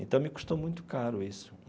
Então me custou muito caro isso.